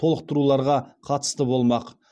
толықтыруларға қатысты болмақ